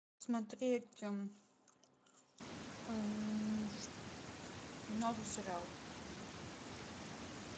смотреть новый сериал